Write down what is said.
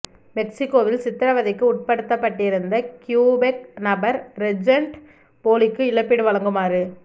மெக்சிகோவில் சித்திரவதைக்கு உட்படுத்தப்பட்டிருந்த கியூபெக் நபர் ரெஜென்ட் போலிக்கு இழப்பீடு வழங்குமாற